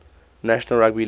national rugby league